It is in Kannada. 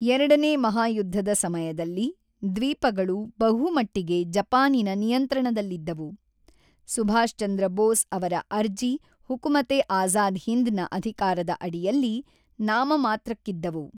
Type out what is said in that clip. ಎರಡನೇ ಮಹಾಯುದ್ಧದ ಸಮಯದಲ್ಲಿ, ದ್ವೀಪಗಳು ಬಹುಮಟ್ಟಿಗೆ ಜಪಾನಿನ ನಿಯಂತ್ರಣದಲ್ಲಿದ್ದವು, ಸುಭಾಷ್ ಚಂದ್ರ ಬೋಸ್ ಅವರ ಅರ್ಜಿ ಹುಕುಮತ್-ಎ-ಆಜಾದ್ ಹಿಂದ್ ನ ಅಧಿಕಾರದ ಅಡಿಯಲ್ಲಿ ನಾಮಮಾತ್ರಕ್ಕಿದ್ದವು.